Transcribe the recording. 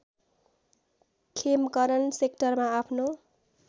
खेमकरण सेक्टरमा आफ्नो